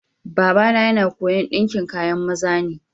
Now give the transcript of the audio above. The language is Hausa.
Baba na yana koya'n dinkin kayan maza ne.